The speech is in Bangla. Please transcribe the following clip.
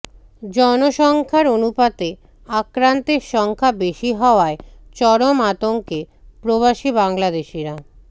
জনসংখ্যার অনুপাতে আক্রান্তের সংখ্যা বেশি হওয়ায় চরম আতঙ্কে প্রবাসী বাংলাদেশিরা